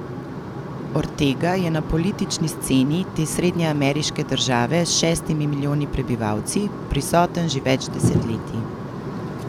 Ortega je na politični sceni te srednjeameriške države s šestimi milijoni prebivalci prisoten že več desetletij.